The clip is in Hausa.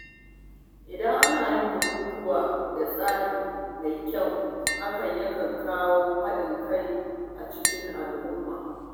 Idan ana yin bukukkuwa da tsari mai kyau, hakan yana kawo haɗin kai a cikin al’umma.